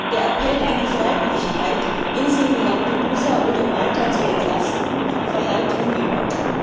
Der Appell an die Freiwilligkeit, Inseln wie Lampedusa oder Malta zu entlasten, verhallt ungehört.